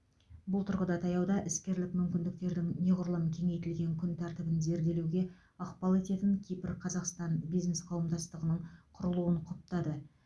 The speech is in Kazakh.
бұл тұрғыда таяуда іскерлік мүмкіндіктердің неғұрлым кеңейтілген күн тәртібін зерделеуге ықпал ететін кипр қазақстан бизнес қауымдастығының құрылуын құптады